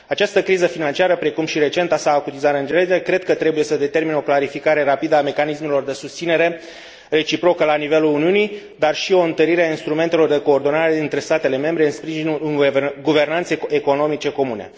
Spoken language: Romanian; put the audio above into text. Această criză financiară, precum și recenta sa acutizare în genere, trebuie să determine o clarificare rapidă a mecanismelor de susținere reciprocă la nivelul Uniunii, dar și o întărire a instrumentelor de coordonare dintre statele membre în sprijinul unei guvernanțe economice comune.